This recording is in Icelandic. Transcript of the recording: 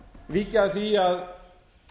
víkja að því að